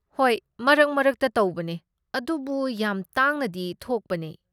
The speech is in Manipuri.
ꯍꯣꯏ, ꯃꯔꯛ ꯃꯔꯛꯇ ꯇꯧꯕꯅꯦ, ꯑꯗꯨꯕꯨ ꯌꯥꯝ ꯇꯥꯡꯅꯗꯤ ꯊꯣꯛꯄꯅꯦ